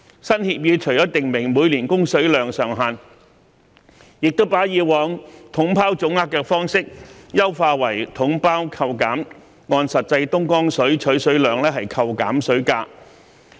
新協議除訂明每年供水量上限，亦把以往"統包總額"的方式優化為"統包扣減"，按實際東江水取水量扣減水價。